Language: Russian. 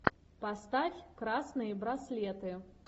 поставь красные браслеты